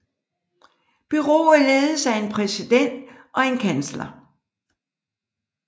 Bureauet ledes af en præsident og en kansler